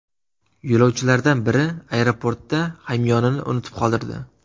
Yo‘lovchilardan biri aeroportda hamyonini unutib qoldirdi.